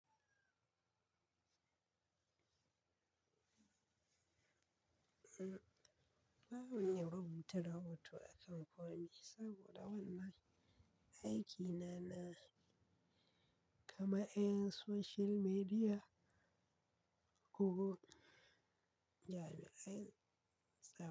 Ba mu iya rubuta rahoto a kan komi saboda wannan aikina na kaman 'yan social media, ko jami'an tsaro.